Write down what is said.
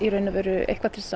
eitthvað til þess